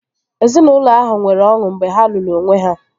Ezinaụlọ abụọ ahụ nwere ọṅụ mgbe ha lụrụ onwe ha